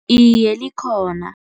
Iye, likhona.